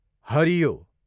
हरियो